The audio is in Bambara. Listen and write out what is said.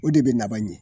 O de bɛ laban ɲɛ